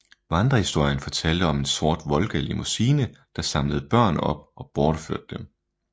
Vandrehistorien fortalte om en sort Volga limousine der samlede børn op og bortførte dem